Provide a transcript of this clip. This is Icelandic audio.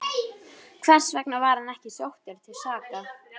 Hversvegna var hann ekki sóttur til saka?